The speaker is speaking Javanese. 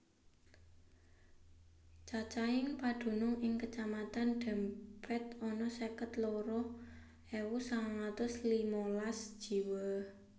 Cacahing padunung ing Kacamatan Dempet ana seket loro ewu sangang atus limalas jiwa